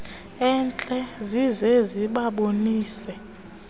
entle zize zibabonise